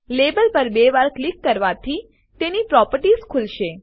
label પર બે વાર ક્લિક કરવાથી તેની પ્રોપર્ટીઝ ખુલશે